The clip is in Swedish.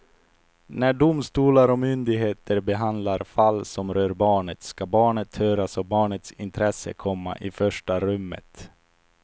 När domstolar och myndigheter behandlar fall som rör barnet ska barnet höras och barnets intresse komma i första rummet.